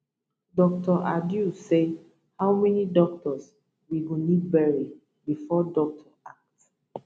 dr adow say how many doctors we go need bury bifor doctor act